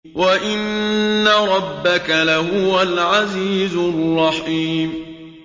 وَإِنَّ رَبَّكَ لَهُوَ الْعَزِيزُ الرَّحِيمُ